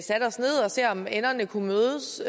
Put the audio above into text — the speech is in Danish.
se om enderne kunne mødes